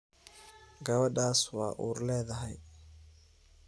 Gawadhas waa uur leedhy.